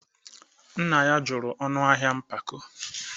nna ya jụrụ ọnụ ahịa mpako